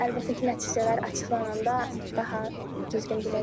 Əlbəttə ki, nəticələr açıqlananda daha düzgün biləcəyik.